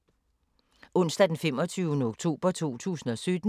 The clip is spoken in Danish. Onsdag d. 25. oktober 2017